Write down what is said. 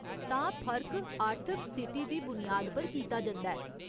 तां, फर्क आर्थिक स्थिति दी बुनियाद पर कीता जंदा ऐ ?